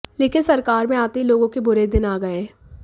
लेकिन सरकार में आते ही लोगों के बुरे दिन आ गए